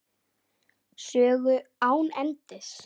Sögu án endis.